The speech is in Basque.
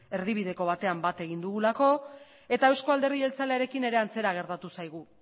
erdibideko batean bat egin dugulako eta euzko alderdi jeltzalearekin eta antzera gertatu zaigu